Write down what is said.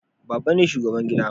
baba ne shugaban gida